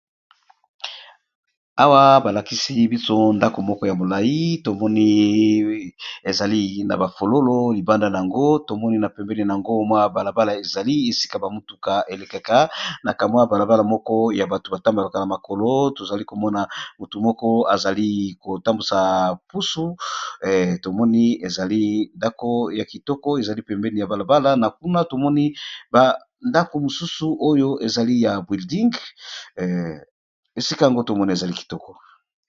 Awa balakisi biso ndako moko ya molai tomoni ezali na bafololo libanda na yango, tomoni na pembeni yango mwa balabala ezali esika bamotuka elekaka na kamwa balabala moko ya bato batambalokala makolo, tozali komona motu moko azali kotambusa pusu tomoni ezali ndako ya kitoko ezali pembeni ya balabala, na kuna tomoni bandako mosusu oyo ezali ya bwilding esika yango tomoni ezali kitoko.